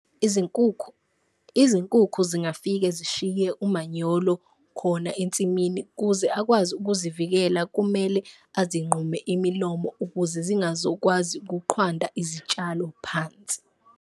Izinkukhu izinkukhu zingafike zishiye umanyolo khona ensimini, kuze akwazi ukuzivikela kumele azinqume imilomo ukuze zingazokwazi ukuqhwanda izitshalo phansi.